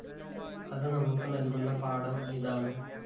അത് നമുക്ക് നല്‍കുന്ന പാഠം ഇതാണ്